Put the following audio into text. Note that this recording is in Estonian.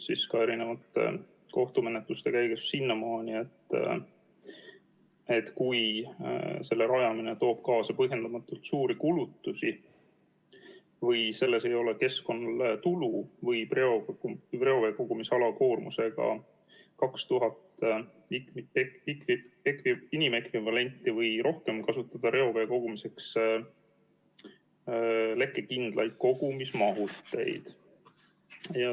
Ka erinevate kohtumenetluste käigus on jõutud sinnamaani, et kui selle rajamine toob kaasa põhjendamatult suuri kulutusi või sellest ei ole keskkonnale tulu, võib reoveekogumisalal, mille koormus on 2000 või rohkem inimekvivalenti, kasutada reovee kogumiseks lekkekindlaid kogumismahuteid.